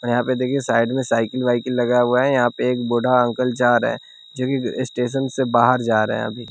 और यहां पे देखिए साइड में साइकिल वाइकिल लगा हुआ है यहां पे एक बूढ़ा अंकल जा रहे हैं जो की स्टेशन से बाहर जा रहे हैं अभी।